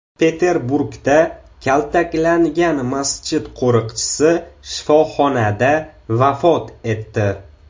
Peterburgda kaltaklangan masjid qo‘riqchisi shifoxonada vafot etdi.